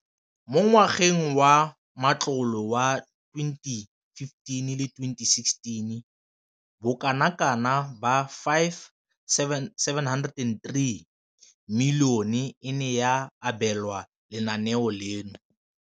Mo ngwageng wa matlole wa 2015,16, bokanaka R5 703 bilione e ne ya abelwa lenaane leno.